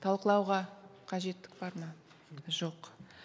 талқылауға қажеттік бар ма жоқ